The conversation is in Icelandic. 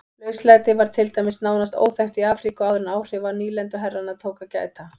Lauslæti var til dæmis nánast óþekkt í Afríku áður en áhrifa nýlenduherrana tók að gæta.